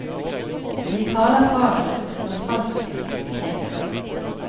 Vi taler fagrest når falskest vi tenker.